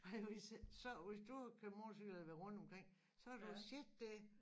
Ej hvis øh så hvis du kører motorcykel eller vil rundt omkring så har du jo set det